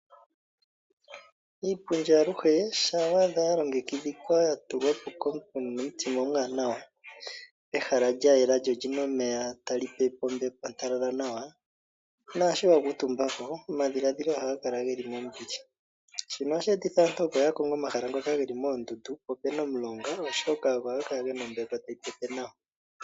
Iipundi aluhe shaa wa dha yalongekidhikwa ya tulwa po komuntu e na omutima omuwanawa, ehala lya yela lyo oli na omeya tali pepe ombepo ontalala nawa, naashi wa kuutumba po omadhiladhilo ohaga kala geli mombili. Shino ohashi etitha aantu opo ya konge omahala ngoka geli moondundu po opuna omulonga oshoka ogo haga gala ge na ombepo tayi pepe nawa.